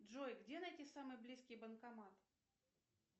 джой где найти самый близкий банкомат